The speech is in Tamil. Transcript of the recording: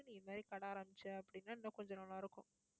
நீ இந்த மாதிரி கடை ஆரம்பிச்ச அப்படின்னா இன்னும் கொஞ்சம் நல்லா இருக்கும்